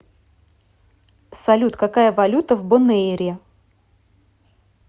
салют какая валюта в бонэйре